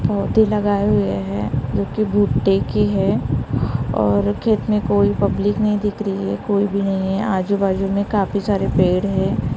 पौधे लगाए हुए हैं जो कि भुट्टे की है और खेत में कोई पब्लिक नहीं दिख रही है कोई भी नहीं है आजू बाजू में काफी सारे पेड़ है।